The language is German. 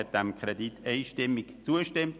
Die BaK hat dem Kredit einstimmig zugestimmt.